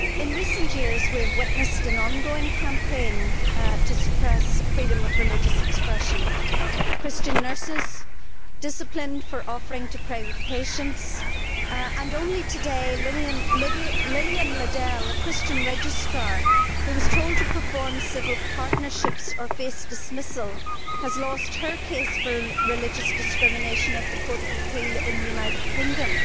Madam President, in recent years, we have witnessed an ongoing campaign to suppress freedom of religious expression. Christian nurses have been disciplined for offering to pray with patients and, only today, Lillian Ladele, a Christian registrar who was told to perform civil partnerships or face dismissal, has lost her case for religious discrimination at the Court of Appeal in the United Kingdom.